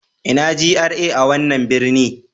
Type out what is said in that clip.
Ina GRA a wannan birni?